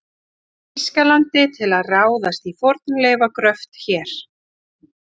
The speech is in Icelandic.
Þýskalandi til að ráðast í fornleifagröft hér.